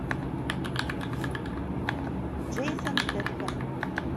джейсон стэтхэм